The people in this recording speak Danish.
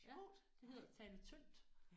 Ja det hedder at tale tyndt